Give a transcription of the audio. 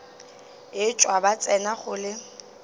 etšwa ba tsena go le